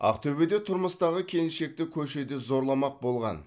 ақтөбеде тұрмыстағы келіншекті көшеде зорламақ болған